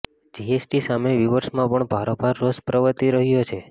GST સામે વીવર્સમાં પણ ભારોભાર રોષ પ્રવર્તી રહ્યો છે